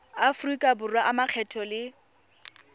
aforika borwa a makgetho le